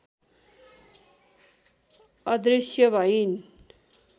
अदृश्य भइन्